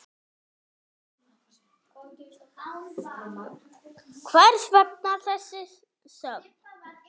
Hvers vegna þessi þögn?